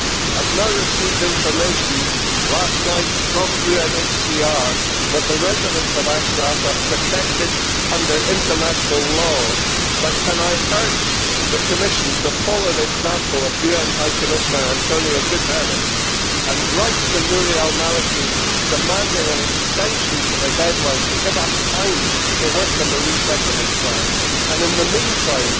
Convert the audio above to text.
I received information last night from UNHCR that the residents of Ashraf are protected under international law, but can I urge the Commission to follow the example of UN High Commissioner António Guterres and write to Nouri al Maliki demanding an extension of the deadline to give us time to work on the resettlement plan, and in the meantime